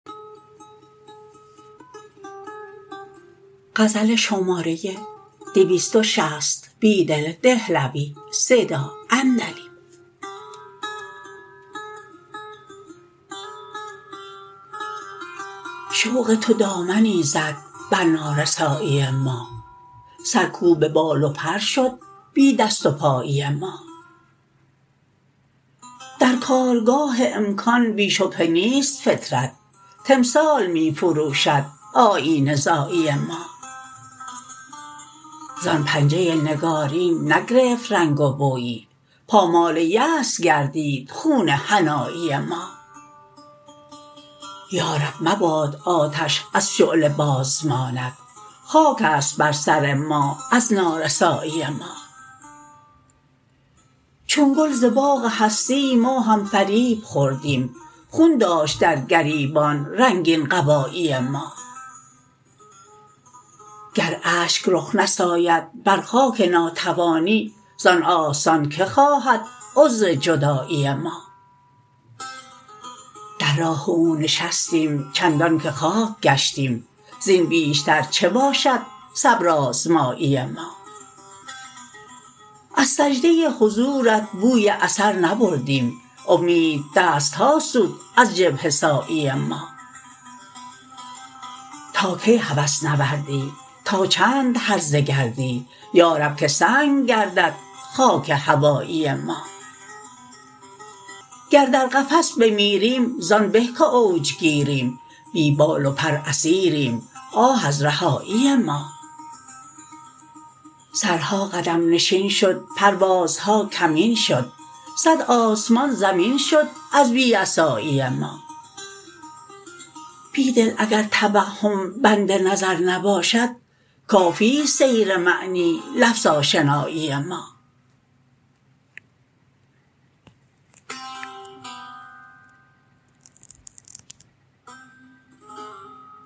شوق تو دامنی زد بر نارسایی ما سرکوب بال وپر شد بی دست پایی ما درکارگاه امکان بی شبهه نیست فطرت تمثال می فروشد آیینه زایی ما زان پنجه نگارین نگرفت رنگ و بویی پامال یأس گردید خون حنایی ما یارب مباد آتش از شعله بازماند خاک است بر سر ما از نارسایی ما چون گل زباغ هستی ما هم فریب خوردیم خون داشت درگریبان رنگین قبایی ما گر اشک رخ نساید بر خاک ناتوانی زان آستان که خواهد عذر جدایی ما در راه او نشستیم چندان که خاک گشتیم زین بیشتر چه باشد صبرآزمایی ما از سجده حضورت بوی اثر نبردیم امید دستها سود از جبهه سایی ما تاکی هوس نوردی تا چند هرزه گردی یارب که سنگ گردد خاک هوایی ما گر در قفس بمیریم زان به که اوج گیریم بی بال و پر اسیریم آه از رهایی ما سرها قدم نشین شد پروازهاکمین شد صد آسمان زمین شد از بی عصایی ما بیدل اگر توهم بند نظر نباشد کافی ست سیر معنی لفظ آشنایی ما